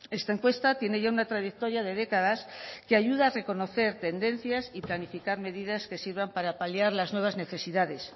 esta encuesta tiene ya una trayectoria de décadas que ayuda a reconocer tendencias y planificar medidas que sirvan para paliar las nuevas necesidades